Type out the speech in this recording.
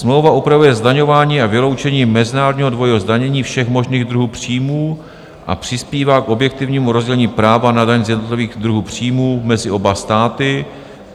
Smlouva upravuje zdaňování a vyloučení mezinárodního dvojího zdanění všech možných druhů příjmů a přispívá k objektivnímu rozdělení práva na daň z jednotlivých druhů příjmů mezi oba státy,